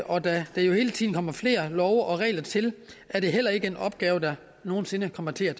og da der hele tiden kommer flere love og regler til er det heller ikke en opgave der nogen sinde kommer til at